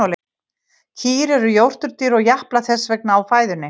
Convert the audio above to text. Kýr eru jórturdýr og japla þess vegna á fæðunni.